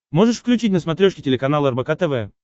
можешь включить на смотрешке телеканал рбк тв